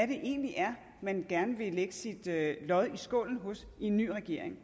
det egentlig er man gerne vil lægge sit lod i skålen hos i en ny regering